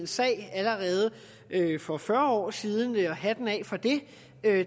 sag allerede for fyrre år siden og hatten af for det